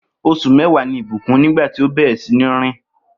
Os̩ù mé̩wàá ni Ìbùkún nígbà tí ó bè̩rè̩ sí ní rìn